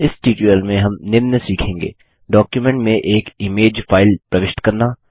इस ट्यूटोरियल में हम निम्न सीखेंगे डॉक्युमेंट में एक इमेज चित्र फाइल प्रविष्ट करना